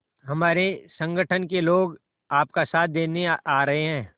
हमारे संगठन के लोग आपका साथ देने आ रहे हैं